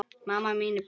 Amma mín í Brekku.